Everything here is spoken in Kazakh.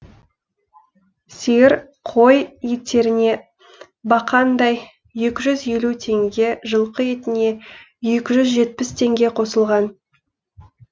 сиыр қой еттеріне бақандай екі жүз елу теңге жылқы етіне екі жүз жетпіс теңге қосылған